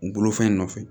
U bolofɛn nɔfɛ